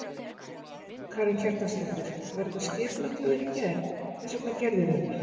Karen Kjartansdóttir: Var þetta skipulagt hjá þér í gær, hvers vegna gerðirðu þetta?